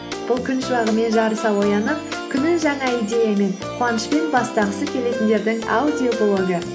бұл күн шуағымен жарыса оянып күнін жаңа идеямен қуанышпен бастағысы келетіндердің аудиоблогы